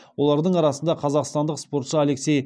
олардың арасында қазақстандық спортшы алексей